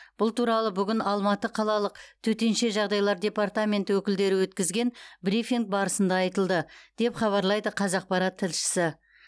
бұл туралы бүгін алматы қалалық төтенше жағдайлар департаменті өкілдері өткізген брифинг барысында айтылды деп хабарлайды қазақпарат тілшісі